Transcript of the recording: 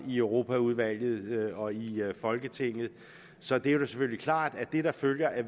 i europaudvalget og i folketinget så det er selvfølgelig klart at det der følger af